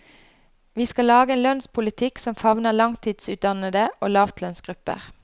Vi skal lage en lønnspolitikk som favner langtidsutdannede og lavtlønnsgrupper.